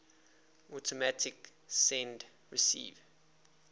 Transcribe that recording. automatic send receive